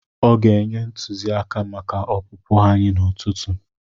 Ọ ga-enye ntụziaka maka opụpụ anyị n'ụtụtụ.